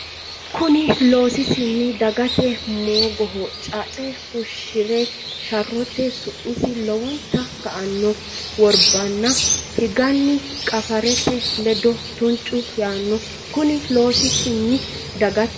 Konni loosisinni dagate moogoho caacce fushshi re sharrote su misi lowonta ka anno worbanna higanni qaafirete ledo tuncu yaanno Konni loosisinni dagate.